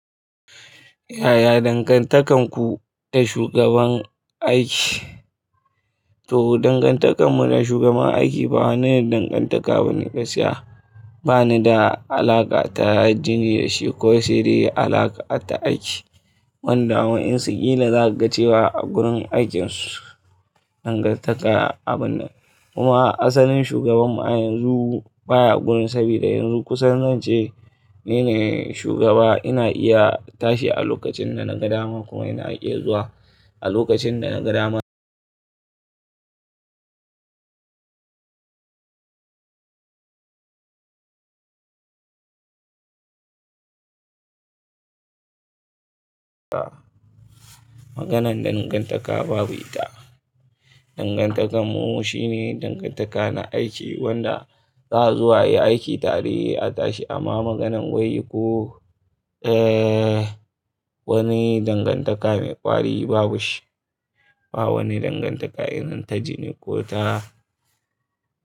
Yaya dangantakarku da shugaban aiki? To, dangantakar mu da shugaban aiki ba wani dangantaka ba ne gaskiya. Ba ni da alaƙa ta jini da shi ko saide alaƙa ta aiki. Wanda ma wainsu za a ga cewa a gurin aikinsu dangantaka abu nan. Kuma asalin shugabanmu a yanzu baya gurin saboda yanzu kusan zan ce ni ne shugaba. Ina iya tashi a lokacin da na ga dama kuma ina iya zuwa a lokacin da na ga dama. Maganan dangantaka babu ita. Dangantakar mu shine dangantaka na aiki wanda za a zu a yi aiki tare a tashi amma maganan wai ko, eh, wani dangantaka mai ƙwari babu shi. Ba wani dangantaka irin ta jini ko ta.